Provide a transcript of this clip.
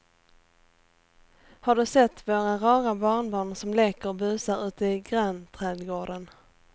Har du sett våra rara barnbarn som leker och busar ute i grannträdgården!